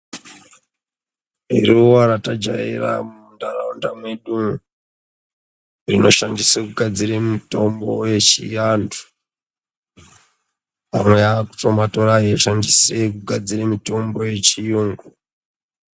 Iruwa ratajaira munharaunda mwedumwo, rinoshandiswe kugadzire mitombo yechiantu. Antu aakutomatora eigadzire mitombo yechiyungu.